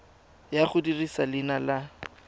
ya go dirisa leina la